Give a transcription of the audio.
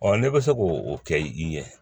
n'e bɛ se k'o kɛ i ɲɛ